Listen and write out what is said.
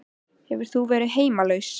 Hefur þú verið heimilislaus?